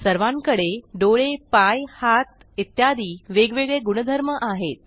सर्वांकडे डोळे पाय हात इत्यादी वेगवेगळे गुणधर्म आहेत